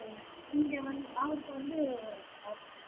இங்க வந்து அவருக்கு வந்து